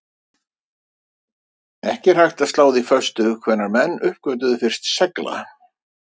Ekki er hægt að slá því föstu hvenær menn uppgötvuðu fyrst segla.